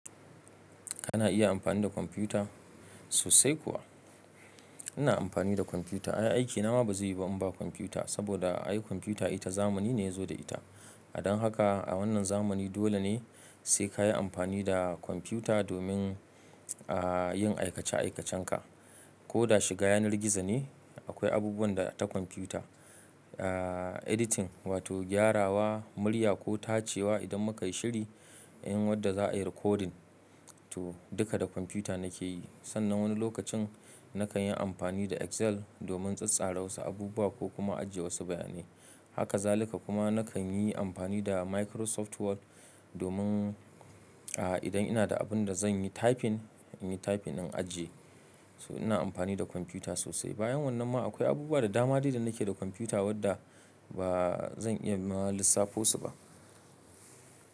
Kana iya amfani da kwamfuta? Sosai kuwa, ina amfani da kwamfuta. Aiki na ma ba zai yiwu ba in ba kwamfuta saboda ai kwamfuta ita zamani ne ya zo da ita. Don haka a wannan zamani dole ne sai ka yi amfani da kwamfuta domin, ah, yin aikace aikacenka. Ko da shiga yanar gizo ne akwai abubuwan da ta kwamfuta. Ah, editing wato gyarawa, murya ko tacewa idan muka yi shiri yin wadda za a yi recording, to duka da kwamfuta nake yi. Sannan wani lokacin nakan yi amfani da Excel domin tsattsara wasu abubuwa ko kuma ajiye wasu bayanai. Haka zalika kuma nakan yi amfani da Microsoft Word domin, ah, idan ina da abin da zan yi typing, in yi typing in ajiye. So ina amfani da kwamfuta sosai. Bayan wannan ma akwai abubuwa da dama dai da nake da kwamfuta wadda ba zan iya ma lissafo su ba.